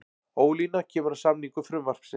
Ólína kemur að samningu frumvarpsins